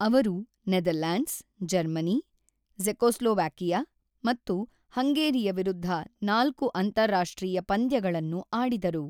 ಅವರು Netherlands, Germany, Czechoslovakia ಮತ್ತು ಹಂಗೇರಿಯ ವಿರುದ್ಧ ನಾಲ್ಕು ಅಂತಾರಾಷ್ಟ್ರೀಯ ಪಂದ್ಯಗಳನ್ನು ಆಡಿದರು.